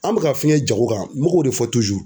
An mɛ ka fɛngɛ jago kan n mɛ k'o de fɔ